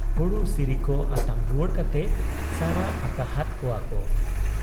ᱦᱩᱲᱩ ᱥᱤᱨᱤᱠᱚ ᱟᱛᱟᱝ ᱨᱩᱣᱟᱹᱲ ᱠᱟᱛᱮ ᱥᱟᱨᱟ ᱟᱠᱟᱦᱟᱫ ᱠᱚᱣᱟᱠᱚ ᱾